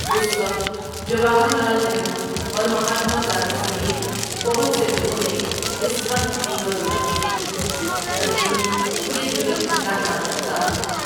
اس وقت جواہر لعل نہرو اور مہاتما گاندھی سمیت بہت سے لوگوں نے اس قتل کی مذمت کی تھی بھلے ہی یہ جراؑتمندانہ اقدام تھا۔